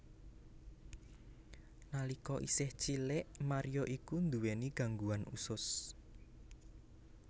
Nalika isih cilik Mario iku nduwé gangguan usus